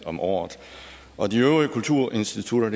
om året og de øvrige kulturinstitutter er